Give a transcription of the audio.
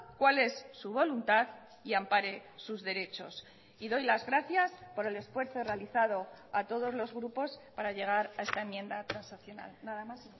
cuál es su voluntad y ampare sus derechos y doy las gracias por el esfuerzo realizado a todos los grupos para llegar a esta enmienda transaccional nada más